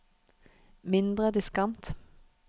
mindre diskant